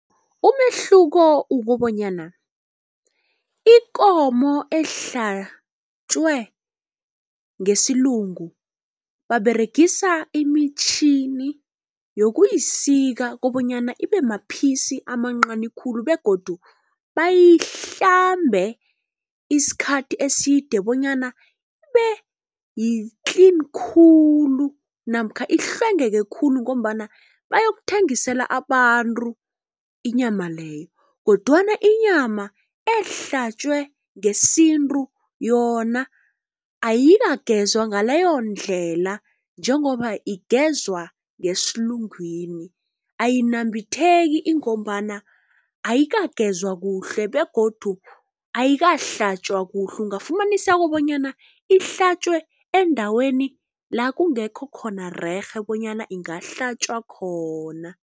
Umehluko ukobanyana ikomo ehlatjwe ngesilungu, baberegisa imitjhini yokuyisika kobonyana ibemaphisi amancani khulu begodu bayihlambe isikhathi eside bonyana ibe-clean khulu namkha ihlwengeke khulu ngombana bayokuthengisela abantu inyama leyo, kodwana inyama ehlatjwe ngesintu yona ayikagezwa ngaleyondlela. Njengoba igezwa ngesilugwini, ayinambitheki ingombana ayikagezwa kuhle begodu ayikahlatjwa kuhle. Ungafumaniseka bonyana ihlatjwe endaweni la kungekho khona rerhe bonyana ingahlatjwa khona.